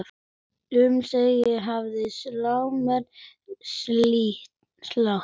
Um sig hefja slánar slátt.